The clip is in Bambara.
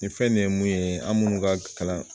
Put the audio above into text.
Nin fɛn nin ye mun ye an munnu ka kalan